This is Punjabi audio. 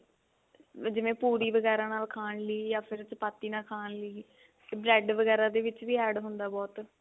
ਵੀ ਜਿਵੇਂ ਪੂਰੀ ਵਗੇਰਾ ਨਾਲ ਖਾਣ ਲਈ ਯਾ ਫਿਰ chapatti ਨਾਲ ਖਾਣ ਲਈ bread ਵਗੇਰਾ ਦੇ ਵਿੱਚ ਵੀ add ਹੁੰਦਾ ਬਹੁਤ